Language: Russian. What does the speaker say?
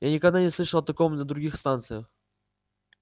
я никогда не слышал о таком на других станциях